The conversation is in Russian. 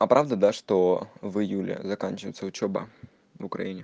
а правда да что в июле заканчивается учёба в украине